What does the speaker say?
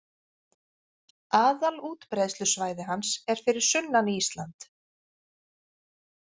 Aðalútbreiðslusvæði hans er fyrir sunnan Ísland